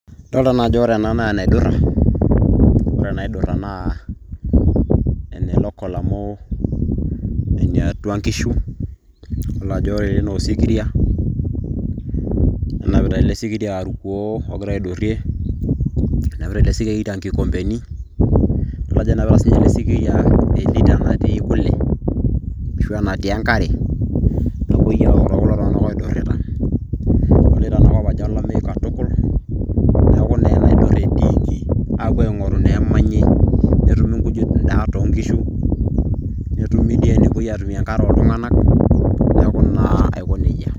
Adolta najo ore ena naa enaidurra, ore enadurra naa, ene local amu eniatua nkishu. Adolta ajo ore ele naa osikiria, nenapita ele sikiria irkuoo ogira aidurrie, enapita ele sikiria inkoombeni. Adol ajo enapita sinye ele sikiria elita natii kule, ashu enatii enkare. Napoi aok te kulo tung'anak odurrita. Adolita enakop ajo olameyu katukul. Neeku naa enaidurra etiiki, apuo aing'oru ineemanyi. Netumi inkujit inaa tonkishu. Netumi dii enepoi atumie enkare oltung'anak. Neeku naa aiko nejia.